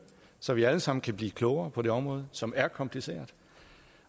så vi alle sammen kan blive klogere på det område som er kompliceret